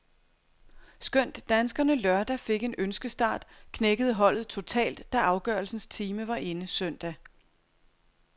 Skønt danskerne lørdag fik en ønskestart, knækkede holdet totalt, da afgørelsens time var inde søndag.